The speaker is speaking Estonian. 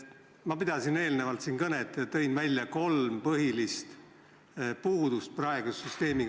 Ma pidasin enne siin kõnet ja tõin praeguse süsteemi puhul välja kolm põhilist puudust.